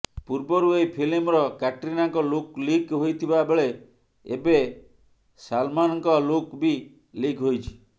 ପୂର୍ବରୁ ଏହି ଫିଲ୍ମର କ୍ୟାଟ୍ରିନାଙ୍କ ଲୁକ୍ ଲିକ୍ ହୋଇଥିବା ବେଳେ ଏବେ ସଲ୍ମାନ୍ଙ୍କ ଲୁକ୍ ବି ଲିକ୍ ହୋଇଛି